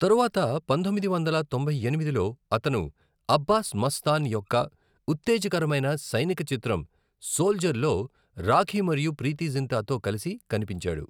తరువాత పంతొమ్మిది వందల తొంభై ఎనిమిదిలో, అతను అబ్బాస్ ముస్తాన్ యొక్క ఉత్తేజకరమైన సైనిక చిత్రం సోల్జర్‌లో రాఖీ మరియు ప్రీతి జింటాతో కలిసి కనిపించాడు.